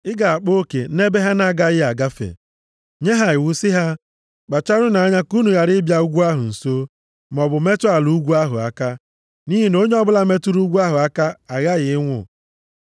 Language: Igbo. Ị ga-akpa oke nʼebe ha na-agaghị agafe. Nye ha iwu si ha, ‘Kpacharanụ anya ka unu ghara ịbịa ugwu ahụ nso, maọbụ metụ ala ugwu ahụ aka. Nʼihi na onye ọ bụla metụrụ ugwu ahụ aka aghaghị ịnwụ.’